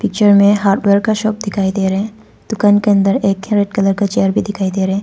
पीछे में हार्डवेयर का शॉप दिखाई दे रहा है। दुकान के अन्दर एक रेड कलर का चेयर भी दिखाई दे रहा हैं।